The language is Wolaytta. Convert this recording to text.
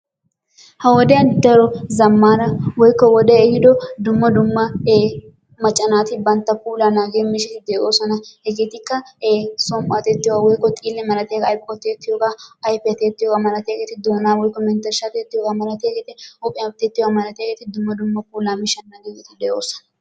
Ha wodiyaan daro zammaana woykko wodee ehiido dumma dumma e macca naati bantta puulaa naagiyoo miishshati de"oosona. Hegeetikka e som"uwaa tiyettiyoogaa woykko xiile malatiyaagaa aybakko tiyettiyoogaa ayfiyaa tiyettiyoogaa malatiyaageti doonaa woykko menttershshaa tiyettiyoogaa malatiyaagaa huuphphiyaa tiyettiyogaa malatiyaageta dumma dumma puulaa miishshata malatiyaageti de"oosona.